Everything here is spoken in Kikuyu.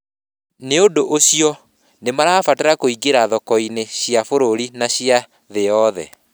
Nĩ ũndũ ũcio, nĩ marabatara kũingĩra thoko-inĩ cia bũrũri na cia thĩ yothe.